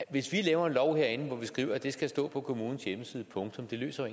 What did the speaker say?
hvis vi laver en lov herinde hvor vi skriver at det skal stå på kommunens hjemmeside punktum løser